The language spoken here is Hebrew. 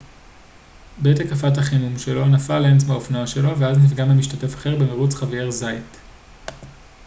בעת הקפת החימום שלו נפל לנץ מהאופנוע שלו ואז נפגע ממשתתף אחר במרוץ חאבייר זאייט